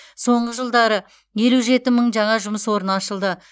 соңғы жылдары елу жеті мың жаңа жұмыс орны ашылды